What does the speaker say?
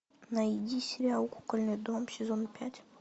найди сериал кукольный дом сезон пять